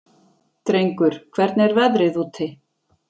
Drengur, hvernig er veðrið úti?